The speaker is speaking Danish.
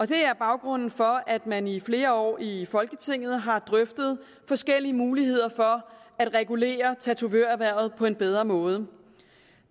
det er baggrunden for at man i flere år i folketinget har drøftet forskellige muligheder for at regulere tatovørerhvervet på en bedre måde